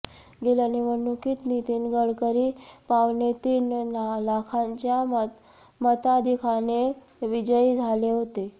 गेल्या निवडणुकीत नितीन गडकरी पावणेतीन लाखांच्या मताधिक्याने विजयी झाले होते